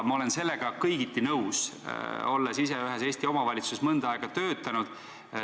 Ma olen sellega kõigiti nõus, olles ise ühes Eesti omavalitsuses mõnda aega töötanud.